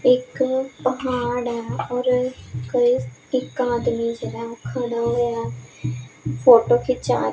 ਇੱਕ ਪਹਾੜ ਹੈ ਔਰ ਕਈ ਇੱਕ ਆਦਮੀ ਜਿਹੜਾ ਖੜਾ ਹੋਏ ਆ ਫ਼ੋਟੋ ਖਿੰਚਾ ਰਿ --